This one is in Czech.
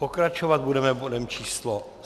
Pokračovat budeme bodem číslo